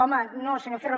home no senyor ferro